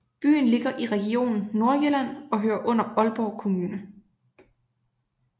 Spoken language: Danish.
Byen ligger i Region Nordjylland og hører under Aalborg Kommune